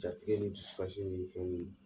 Jatigɛ in f fasi in ye fɛn min ye